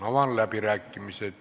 Avan läbirääkimised.